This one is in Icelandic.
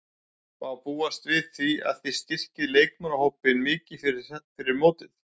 Má búast við að þið styrkið leikmannahópinn mikið fyrir mót?